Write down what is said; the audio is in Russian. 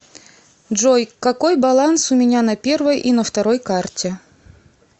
джой какой баланс у меня на первой и на второй карте